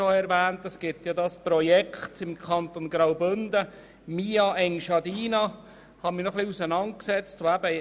Im Kanton Graubünden gibt es ein Projekt namens «mia Engiadina», mit dem ich mich auseinandergesetzt habe.